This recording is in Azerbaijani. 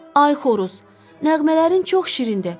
Ay Xoruz, nəğmələrin çox şirindir.